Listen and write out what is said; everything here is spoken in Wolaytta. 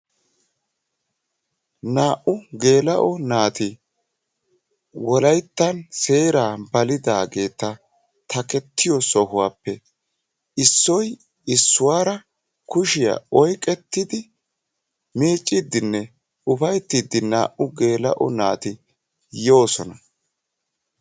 Naa'u gelao naati wolaytta seeraa balidageta takketiyo sohuwaappe issoy issuwara kushiya oyqqetidi miccidine ufayttidi naa'u gelao naati yosona.